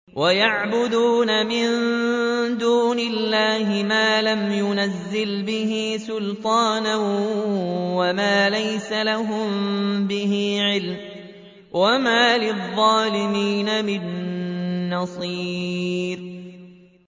وَيَعْبُدُونَ مِن دُونِ اللَّهِ مَا لَمْ يُنَزِّلْ بِهِ سُلْطَانًا وَمَا لَيْسَ لَهُم بِهِ عِلْمٌ ۗ وَمَا لِلظَّالِمِينَ مِن نَّصِيرٍ